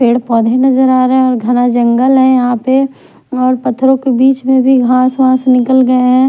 पेड़ पौधे नजर आ रहे हैं और घना जंगल है यहां पे और पत्थरों के बीच में भी घास वास निकल गए हैं।